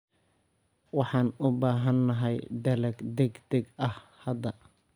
Waxaan u baahanahay dalag degdeg ah hadda.